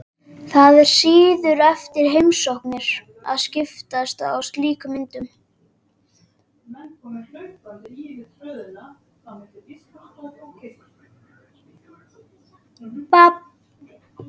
Það er siður eftir heimsóknir að skiptast á slíkum myndum.